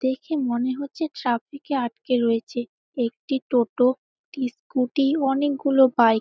দেখে মনে হচ্ছে ট্রাফিক -এ আটকে রয়েছে একটি টোটো একটি স্ক্যুটি ও অনেকগুলো বাইক ।